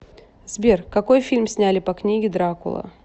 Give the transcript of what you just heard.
сбер какои фильм сняли по книге дракула